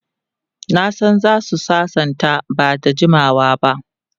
Na san za su sasanta ba da jimawa ba.